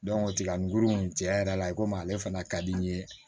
tiga nguru in cɛn yɛrɛ la i komi ale fana ka di n ye